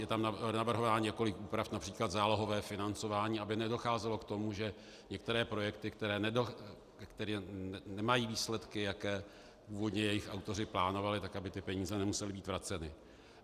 Je tam navrhováno několik úprav, například zálohové financování, aby nedocházelo k tomu, že některé projekty, které nemají výsledky, jaké původně jejich autoři plánovali, tak aby ty peníze nemusely být vraceny.